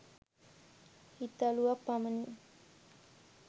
හිතලුවක් පමණි